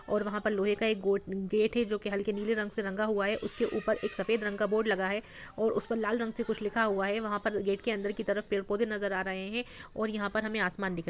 और वहाँ पर लोहे का एक गोट- गेट है जो कि हल्के नीले रंग से रंगा हुआ है। उसके ऊपर एक सफेद रंग का बोर्ड लगा है और उस पर लाल रंग से कुछ लिखा हुआ है। वहाँ पर गेट के अंदर की तरफ पेड़ पौधे नज़र आ रहे हैं और यहाँ पर हमें आसमान दिख रहा --